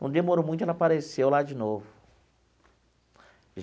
Não demorou muito e ela apareceu lá de novo.